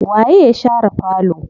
Waye ya share falo?